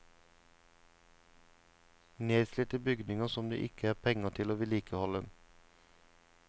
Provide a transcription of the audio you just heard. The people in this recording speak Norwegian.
Nedslitte bygninger som det ikke er penger til å vedlikeholde.